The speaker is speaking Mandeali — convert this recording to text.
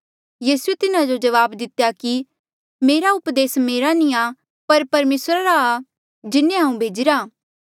यीसूए तिन्हा जो जवाब दितेया कि मेरा उपदेस मेरा नी आ पर परमेसरा री जिन्हें हांऊँ भेजीरा आ